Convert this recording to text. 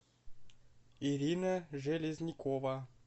ирина железнякова